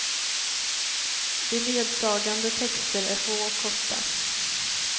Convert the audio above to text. Beledsagande texter är få och korta.